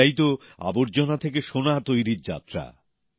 এটাই তো আবর্জনা থেকে সোনা তৈরীর যাত্রা